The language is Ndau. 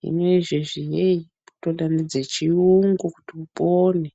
zvino izvezvi yeii kunotoda nedzechiyungu kuti upone.